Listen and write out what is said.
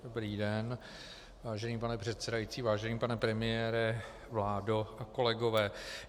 Dobrý den, vážený pane předsedající, vážený pane premiére, vládo a kolegové.